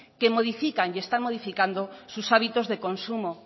que modifican y están modificando sus hábitos de consumo